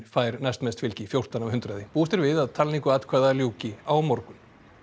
fær næstmest fylgi fjórtán af hundraði búist er við að talningu atkvæða ljúki á morgun